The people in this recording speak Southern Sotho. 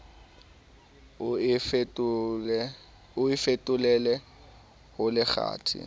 o e fetolele ho lekgathe